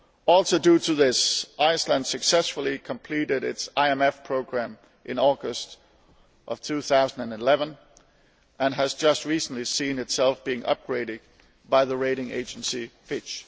Also due to this, Iceland successfully completed its IMF programme in August 2011 and has just recently seen itself upgraded by the rating agency Fitch.